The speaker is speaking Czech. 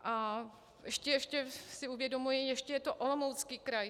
A ještě si uvědomuji, ještě je to Olomoucký kraj.